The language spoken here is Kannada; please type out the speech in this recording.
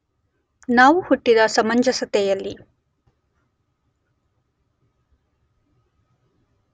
ನಾವು ಹುಟ್ಟಿದ ಸಮಂಜಸತೆಯಲ್ಲಿ